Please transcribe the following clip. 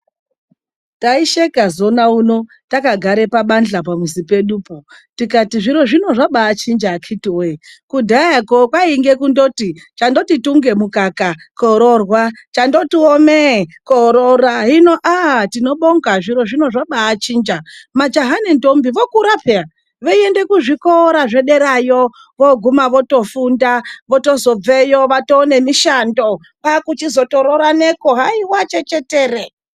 Taisheka zoona unowu, takagare pabadhla pamuzi pedupo. Tikati zviro zvino zvabaachinja akhiti woye. Kudhayakwo kwainge kundoti, chandoti tunge zvimukaka koororwa, chandotiwo meee kooroora. Hino tinobonga zviro zvino, majaha nendombi vokura pheya. Veiende kuzvikora zvedereyo, vochitozobveyo vaane mishando, vochitozorooraneko haiwa chechetere.